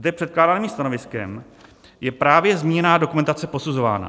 Zde předkládaným stanoviskem je právě zmíněná dokumentace posuzována.